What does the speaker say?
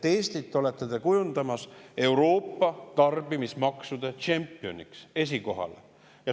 Eestist olete te kujundamas Euroopa tarbimismaksude tšempionit, esikoha.